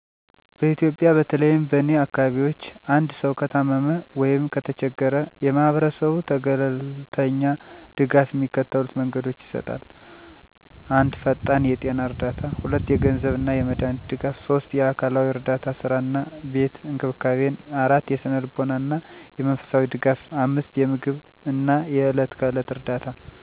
በኢትዮጵያ፦ በተለይም በእኔ አካባቢዎች አንድሰዉ ከታመመ ወይም ከተቸገራ የማሀበራስቡ ተገለልተኛ ድጋፍ የሚከተሉት መንገዶች ይሰጣል። 1 ፈጣን የጤና እርዳታ 2 የገንዘብ አና የመዳሃኒት ድጋፍ 3 የአካልዊ እረዳታ ሥራ አና ቤት እንክብካቤን 4የስነልቦና አና የመንፈሳዊ ደጋፍ 5የምግብ አና የዕለት ከዕለት እርዳታ